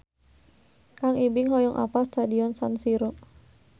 Kang Ibing hoyong apal Stadion San Siro